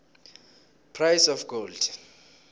price of gold